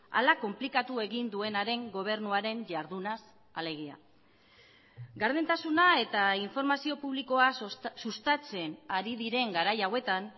ala konplikatu egin duenaren gobernuaren jardunaz alegia gardentasuna eta informazio publikoa sustatzen ari diren garai hauetan